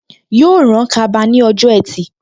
Yóò rán kaba ní ọjọ́ ẹtì